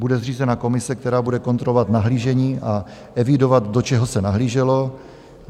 Bude zřízena komise, která bude kontrovat nahlížení a evidovat, do čeho se nahlíželo?